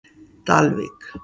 Dalvík